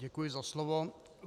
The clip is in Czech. Děkuji za slovo.